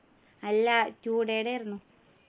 അല്ല two day ടെ ആയിരുന്നു